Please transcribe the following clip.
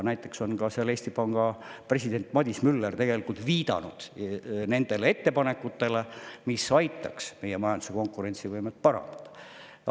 Näiteks on seal Eesti Panga president Madis Müller viidanud ettepanekutele, mis aitaks meie majanduse konkurentsivõimet parandada.